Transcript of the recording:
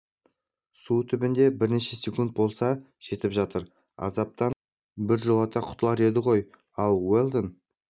су түбінде бірнеше секунд болса жетіп жатыр азаптан біржолата құтылар еді ғой ал уэлдон